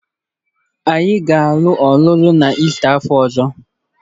Anyị ga-alụ ọlụlụ n'Ista afọ ọzọ